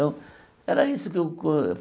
era isso que eu que.